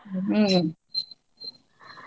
ಹ್ಮ್ .